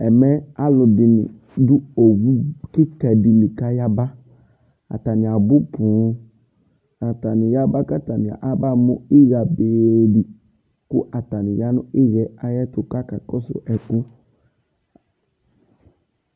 ɛmɛ alu dini du owu kika di li kaɣabaatani abu pooataniaɣaba kaba mu iya be diatani ɣa nu iya ayetu kaka kosu eƒu